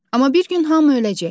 Amma bir gün hamı öləcək.